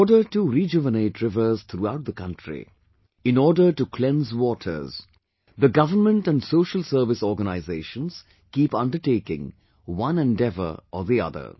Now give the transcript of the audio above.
in order to rejuvenate rivers throughout the country; in order to cleanse waters, the government and social service organizations keep undertaking one endeavour or the other